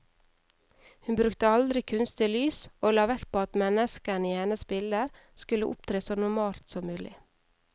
Hun brukte aldri kunstig lys, og la vekt på at menneskene i hennes bilder skulle opptre så normalt som mulig.